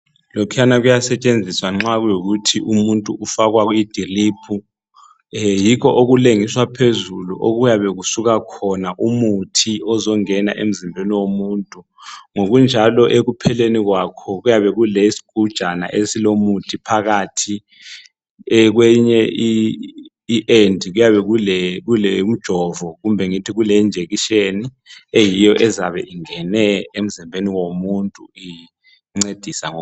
Lokhuyana kuyasetshenziswa nxa kuyikuthi umuntu ufakwa idiliphu. Yikho okulengiswa phezulu okuyabe kusuka khona umuthi ozongena emzimbeni womuntu. Ngokunjalo ekupheleni kwakho kuyabe kulesigujana esilomuthi phakathi. Kweyinye I end kuyabe kulomjovo kumbe ngithi kule injection eyiyo izabe ingene emzimbeni womuntu incedisa.